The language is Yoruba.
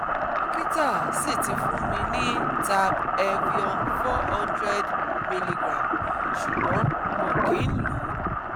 Dokita si ti fun mi ni Tab Evion four hundred miligramme sugbon mo kin lo